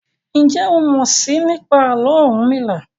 Njé o mọ sii nípa Àló̩ Orunmila?